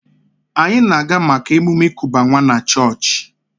Anyị na-aga maka emume ịkuba nwa na chọọchị